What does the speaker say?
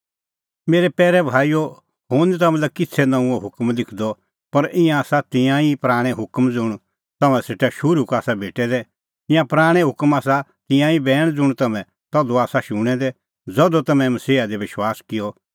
मेरै पैरै भाईओ हुंह निं तम्हां लै किछ़ै नऊंअ हुकम लिखदअ पर ईंयां आसा तिंयां ई पराणैं हुकम ज़ुंण तम्हां सेटा शुरू का आसा भेटै दै ईंयां पराणैं हुकम आसा तिंयां ई बैण ज़ुंण तम्हैं तधू आसा शूणैं दै ज़धू तम्हैं मसीहा दी विश्वास किअ